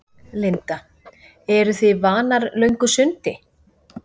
Linda: Eru þið vanar löngu sundi?